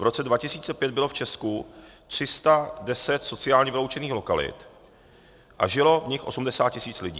V roce 2005 bylo v Česku 310 sociálně vyloučených lokalit a žilo v nich 80 tisíc lidí.